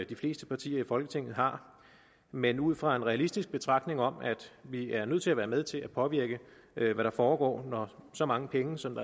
de fleste partier i folketinget har men ud fra en realistisk betragtning om at vi er nødt til at være med til at påvirke hvad der foregår når så mange penge som